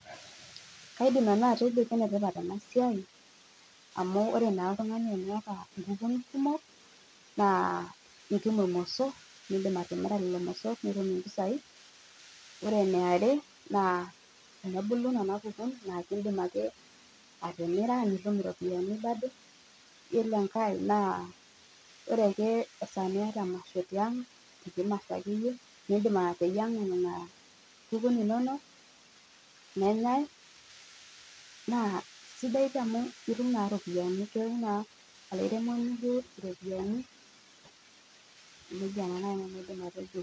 Kaidim nanu atejo enetipat ena siai amu ore naa oltung'ani eneeku keeta inkukun kumok naa itum irmosorr, niindim arimira lelo mosorr nitum impisai. Ore ene are naa enebulu nena kukun naa indim ake atimira nitum iropiyiani bado. Iyiolo enkae naa ore ake enkata niata emasho tiang', enkiti masho akeyie niindim ateyieng'a nena kukun inono, nenyae naa sidai pii amu itum naa iropiyiani, etum naa olairemoni iropiyiani. Neija nanu aidim atejo